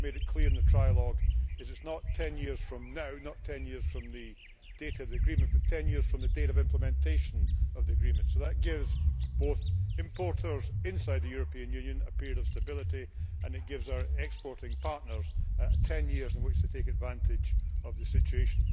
What we have made clear in the trialogue is that it is not ten years from now not ten years from the date of the agreement but ten years from the date of implementation of the agreement, so this gives importers inside the European Union a period of stability and it gives our exporting partners ten years in which to take advantage of the situation.